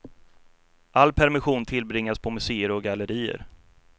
All permission tillbringades på museer och gallerier.